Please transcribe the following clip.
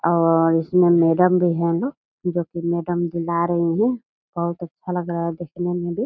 और इसमें मैडम भी है ना जो कि मैडम दिला रही है बहुत अच्छा लग रहा है देखने में भी।